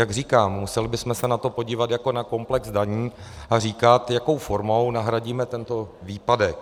Jak říkám, museli bychom se na to podívat jako na komplex daní a říci, jakou formou nahradíme tento výpadek.